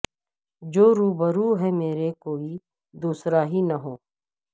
جو روبرو ہے مرے کوئی دوسرا ہی نہ ہو